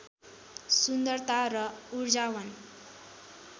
सुन्दरता र उर्जावान